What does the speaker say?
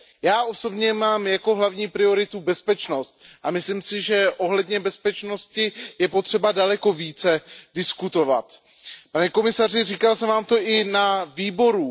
Já osobně mám jako hlavní prioritu bezpečnost a myslím si, že ohledně bezpečnosti je potřeba daleko více diskutovat. Pane komisaři, říkal jsem vám to i na výboru.